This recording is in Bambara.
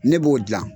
Ne b'o dilan